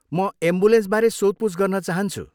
म एम्बुलेन्सबारे सोधपुछ गर्न चाहन्छु।